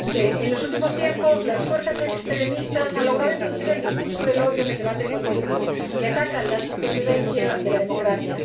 Señor presidente, en los últimos tiempos las fuerzas extremistas han logrado introducir el discurso del odio en el debate político, que ataca la supervivencia de la democracia.